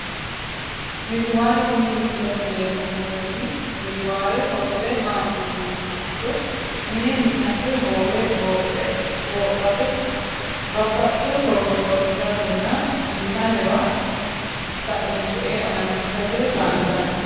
Miziwaare tini misilete leeltawoti miziwaare horose maati yinumoha ikiro mine mi`nate hoowe hoophate babaxewo looso loosiratenna lamewa taino coye amadisiisate kaalitano.